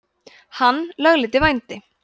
hann lögleiddi vændi